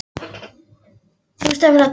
En, það var nú ekki vitað fyrirfram!